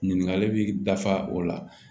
Ɲininkali bi dafa o la